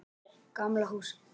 Gamla húsið.